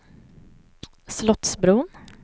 Slottsbron